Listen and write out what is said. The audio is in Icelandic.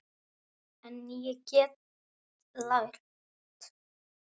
En ég get lært.